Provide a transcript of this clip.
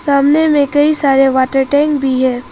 सामने में कई सारे वाटर टैंक भी है।